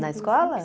Na escola?